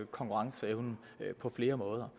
konkurrenceevnen på flere måder